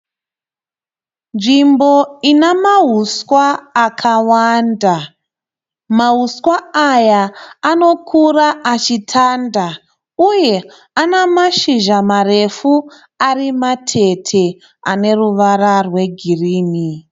Nzvimbo inamahusw akawanda. Mahuswa aya anokura achitanda uye ana mashizha marefu ari matete ane ruvara rwegirini.